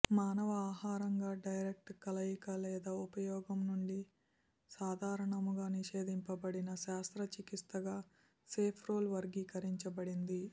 మానవ ఆహారంగా డైరెక్ట్ కలయిక లేదా ఉపయోగం నుండి సాధారణముగా నిషేదించబడిన శస్త్రచికిత్సగా సేఫ్రోల్ వర్గీకరించబడింది